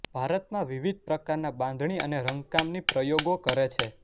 ભારતમાં વિવિધ પ્રકારના બાંધણી અને રંગકામની પ્રયોગો કરે છે